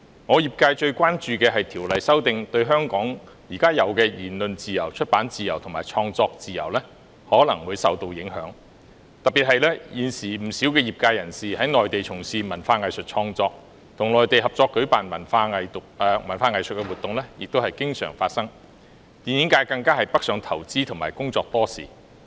我的業界最關注的，是《條例》的修訂對香港現時的言論自由、出版自由和創作自由可能會帶來影響，特別是現時不少業界人士在內地從事文化藝術創作，與內地合作舉辦的文藝活動也甚常見，電影界更已北上投資和工作多時。